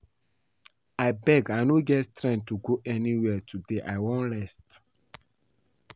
Abeg I no get strength to go anywhere today I wan rest